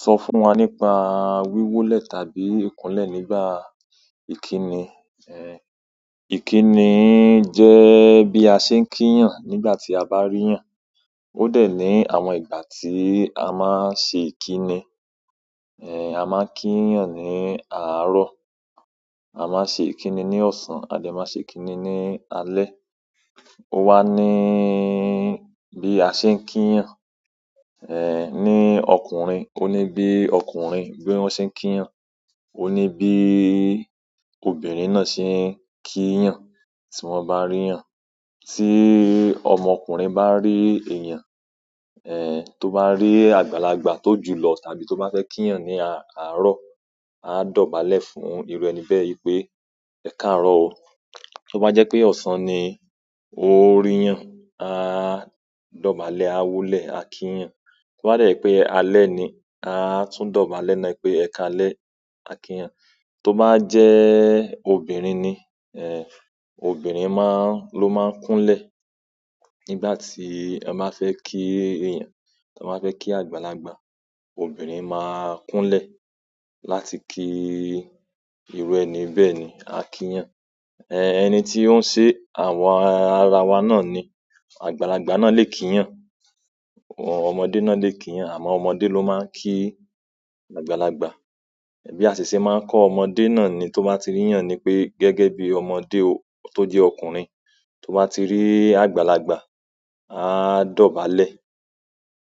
Sọ fún wa nípa wíwólẹ̀ tàbí ìkúnlẹ̀ nígbà ìkíni. Ẹ̀, ìkíni jẹ́ bí a ṣe ń kíiyan nígbà tí a bá ríiyan. Ó dẹ̀ ní àwọn ìgbà tí a máa ń ṣe ìkíni. Ẹ̀, a máa ń kí yan ní àárọ̀, a máa ń ṣe ìkíni ní ọ̀sán, a dẹ̀ máa ṣe ìkíni ní alẹ́. Ó wá níí, bí a ṣe ń kí yan, ẹ́, ní ọkùnrin, ó ní bí ọkùnrin bí wọ́n ṣe ń kí yan, ó ní bí obìnrin náà ṣe ń kí yan tí wọ́n bá rí yan. Ti ọmọ ọkùnrin ba ri eeyan toba ri àgbàlagbà to julọ tàbí toba fẹ ki yan ni àárọ̀, a dọ̀bálẹ̀ fún iru ẹni bẹ́ẹ̀ wípé ẹkaarọ o. Toba jẹ pe ọsan ni o ri yan, a dọ̀bálẹ̀, a woolẹ a ki yan. Tó bá dẹ jẹ pé alẹ́ ni, a tún dọ̀bálẹ̀ náà pé "Ẹ káalẹ́", a kí yan. Tó bá jẹ́ obìnrin ni, ẹ́, obìnrin máa ń, ló máa ń kúnlẹ̀ nígbà tí wọn máa fẹ́ kí èèyàn, tí wọn ba fẹ́ kí àgbàlagbà, obìnrin máa kúnlẹ̀ láti kí irú ẹni bẹ́ẹ̀ ni, a kí yan. Ẹ̀, ẹni tí ó ń se àwọn ara wa náà ni, àgbàlagbà náà lè kí yan, àwọn ọmọdé náà lè kí yan, àmọ́ ọmọdé ló máa ń kí àgbàlagbà. Bí a ṣe ṣé máa ń kọ́ ọmọdé náà ni tó bá ti rí yan ni pé gẹ́gẹ́ bí ọmọdé o-- tó jẹ́ ọkùnrin, tó bá ti rí àgbàlagbà, a dọ̀bálẹ̀.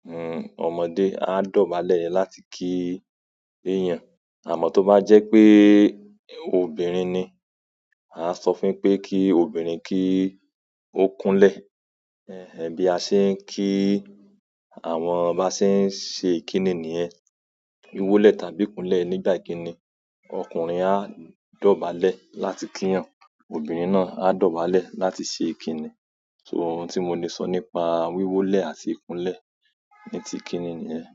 Hmm, ọmọdé á dọ̀bálẹ̀ láti kí èèyàn. Àmọ́ tó bá jẹ́ pé obìnrin ni, a sọ fún pé kí obìnrin kí ó kúnlẹ̀. Ẹ̀, bí a ṣe ń ki àwọn ba ṣe ń ṣe ìkíni nìyẹn. Wíwólẹ̀ tàbí ìkúnlẹ̀ nígbà ìkíni, ọkùnrin á dọ̀bálẹ̀ láti kí yan, obìnrin náà á dọ̀bálẹ̀ láti ṣe ìkíni. So òun tí mo ní sọ nípa wíwólẹ̀ àti ìkúnlẹ̀ ní ti ìkíni nìyẹn.